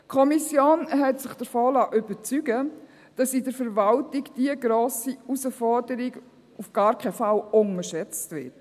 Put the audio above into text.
Die Kommission hat sich davon überzeugen lassen, dass diese grosse Herausforderung in der Verwaltung auf gar keinen Fall unterschätzt wird.